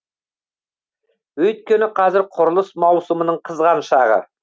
өйткені қазір құрылыс маусымының қызған шағы